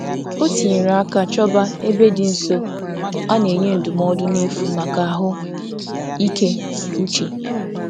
O tinyere aka chọba ebe dị nso a na-enye ndụmọdụ n'efu maka ahụ ike uche